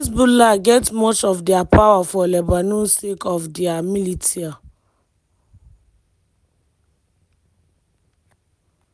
hezbollah get much of dia power for lebanon sake of dia militia.